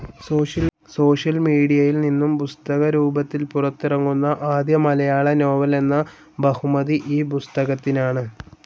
Social മീഡിയയിൽ നിന്നും പുസ്തകരൂപത്തിൽ പുറത്തിറങ്ങുന്ന ആദ്യ മലയാള നോവൽ എന്ന ബഹുമതി ഈ പുസ്തകത്തിനാണ്.